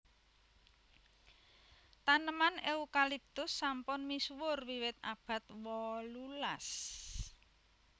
Taneman Eucalyptus sampun misuwur wiwit abad wolulas